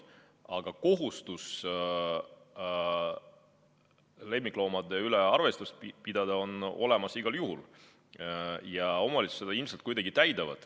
Aga kohustus lemmikloomade üle arvestust pidada on olemas igal juhul ja omavalitsused seda ilmselt ikka kuidagi täidavad.